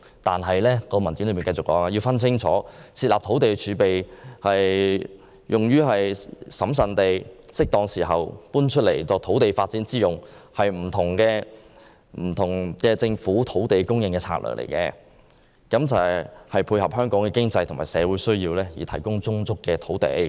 但是，文件進一步指出，設立土地儲備以審慎地在適當時候作土地發展之用，是一項不同的政府土地供應策略，為配合香港經濟和社會需要而提供充足的土地。